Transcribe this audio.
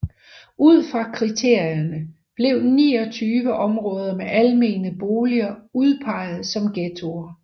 Ud fra kriterierne blev 29 områder med almene boliger udpeget som ghettoer